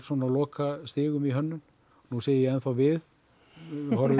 á lokastigum í hönnun nú segi ég ennþá við horfi